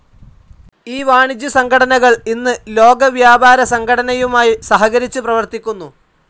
ഈ വാണിജ്യസംഘടനകൾ ഇന്ന് ലോകവ്യാപാരസംഘടനയുമായി സഹകരിച്ചു പ്രവർത്തിക്കുന്നു.